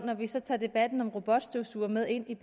når vi så tager debatten om robotstøvsugere med ind i